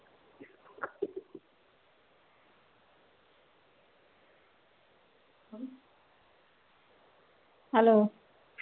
hello